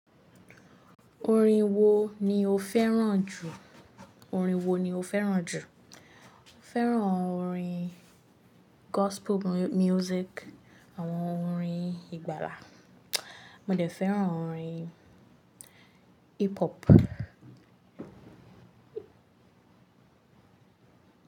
Orin wo ni o fẹ́ràn jù? Orin wo ni o fẹ́ràn jù? Mo fẹ́ràn orin gospel music, àwọn orin ìgbàlà, mo dẹ̀ fẹ́ràn orin hip hop.